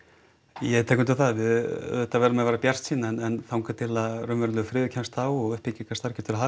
ég tek undir það við auðvitað verðum að vera bjartsýn en þangað til að raunverulegur friður kemst á og uppbyggingarstarf getur